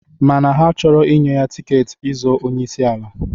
Mana ha achọrọ inye tiketi ị zọọ onyeisi ala.